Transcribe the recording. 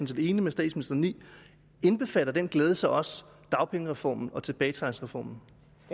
set enig med statsministeren i indbefatter den glæde så også dagpengereformen og tilbagetrækningsreformen